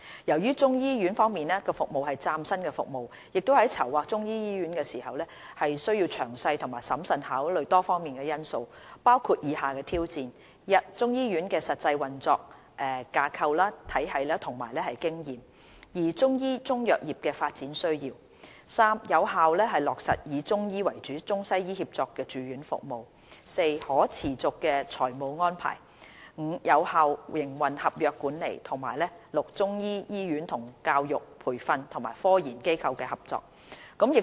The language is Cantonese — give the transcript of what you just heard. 由於中醫醫院服務是嶄新的服務，在籌劃中醫醫院時需詳細和審慎考慮多方面的因素，包括以下的挑戰： 1中醫醫院的實際運作架構體系和經驗； 2中醫中藥業的發展需要； 3有效落實以中醫為主的中西醫協作住院服務； 4可持續的財務安排； 5有效的營運合約管理；及6中醫醫院與教育、培訓及科研機構的合作。